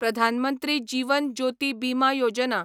Pradhan Mantri Jeevan Jyoti Bima Yojana